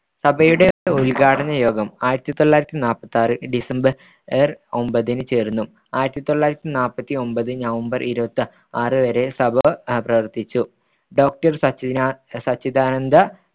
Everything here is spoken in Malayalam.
സഭയുടെ ഉദ്ഘാടനയോഗം ആയിരത്തിതൊള്ളായിരത്തിനാല്പത്തിയാറ് ഡിസംബർ ഒമ്പതിന് ചേർന്നു ആയിരത്തിതൊള്ളായിരത്തിനാല്പത്തിയൊൻമ്പത് നവംബർ ഇരുപത്തിയാറ് വരെ സഭ പ്രവർത്തിച്ചു doctor സച്ചിദാനന്ദ